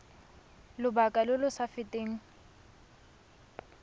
lobaka lo lo sa feteng